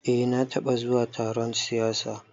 Eh na taɓa zuwa taron siyasa